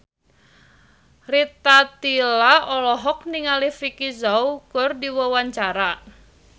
Rita Tila olohok ningali Vicki Zao keur diwawancara